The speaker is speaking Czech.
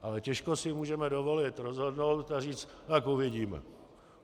Ale těžko si můžeme dovolit rozhodnout a říct: Tak uvidíme.